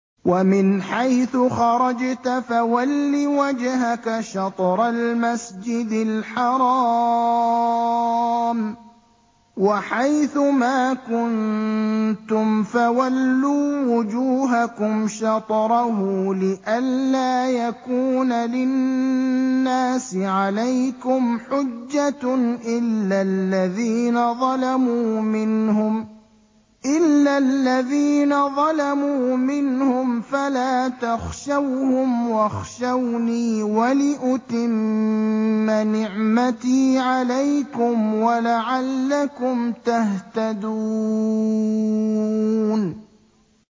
وَمِنْ حَيْثُ خَرَجْتَ فَوَلِّ وَجْهَكَ شَطْرَ الْمَسْجِدِ الْحَرَامِ ۚ وَحَيْثُ مَا كُنتُمْ فَوَلُّوا وُجُوهَكُمْ شَطْرَهُ لِئَلَّا يَكُونَ لِلنَّاسِ عَلَيْكُمْ حُجَّةٌ إِلَّا الَّذِينَ ظَلَمُوا مِنْهُمْ فَلَا تَخْشَوْهُمْ وَاخْشَوْنِي وَلِأُتِمَّ نِعْمَتِي عَلَيْكُمْ وَلَعَلَّكُمْ تَهْتَدُونَ